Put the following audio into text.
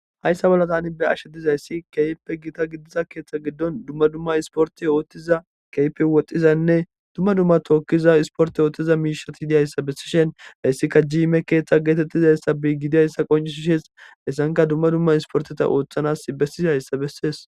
hayssa bolla tani be'ashe dizayssi keyppe gita gidiza keeththa giddon dumma dumma isporti ooththiza keyppe woxhxizanne dumma dumma tookkiza isporte yootthiza miishati idiyayssa bessishen hayssika jiime keeththa geetettizayssa bi gidiayssa qoncis shees essanka dumma dumma isporteta ooththanas bessizayssa bessees